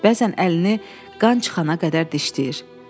Bəzən əlini qan çıxana qədər dişləyir.